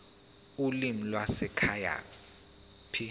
ulimi lwasekhaya p